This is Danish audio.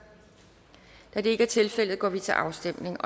da det ikke er tilfældet går vi til afstemning